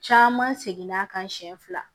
Caman seginna a kan siɲɛ fila